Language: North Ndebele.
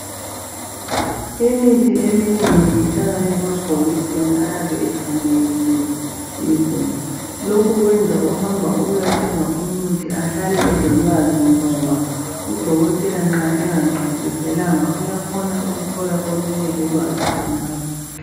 Imithi eminengi ihlala emabhokisini ayabe efanekisiwe izinto lokhu kwenza ohamba esiyathenga umuthi ehlale elolwazi ngoba udokotela nxa engamchasiselanga uyakwanisa ukuthola olunye ulwazi khonapho.